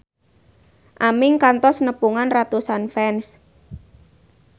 Aming kantos nepungan ratusan fans